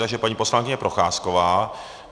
Takže paní poslankyně Procházková.